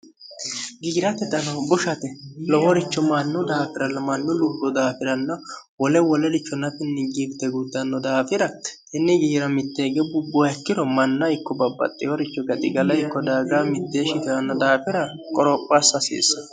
giyirate dano bushate loworicho mannu daafira limannu lubru daafiranno wole wolelichonatinningibite guddanno daafira inni giyira mitteege bubbuhakkiro manna ikko babbaxxehoricho gaxigala ikko daaga mitteeshshitiranno daafira qoropho assahasiisse